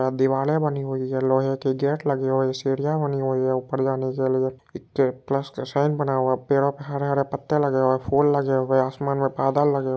यहाँ दीवाले बनी हुई है लोहे की गेट लगे हुई है सिडिया बनी हुई है ऊपर जाने के लिए इक्क प्लस का साइन बना हुआ है पेड़ो पे हरे हरे पत्ते लगे हुए है फूल लगे हुए है आसमान में बादल लगे हुए---